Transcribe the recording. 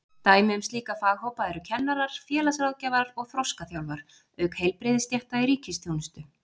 Dæmi um slíka faghópa eru kennarar, félagsráðgjafar og þroskaþjálfar, auk heilbrigðisstétta í ríkisþjónustu.